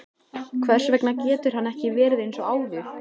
Hvers vegna getur hann ekki verið eins og áður?